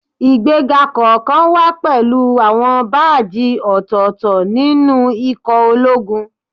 Ìgbéga kọ̀ọ̀kan wá pẹ̀lú àwọn báàjì ọ̀tọ̀ọ̀tọ̀ nínú ikọ̀ ológun